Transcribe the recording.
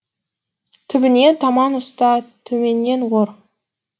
түбіне таман ұста төменнен ор